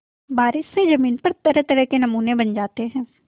बारिश से ज़मीन पर तरहतरह के नमूने बन जाते हैं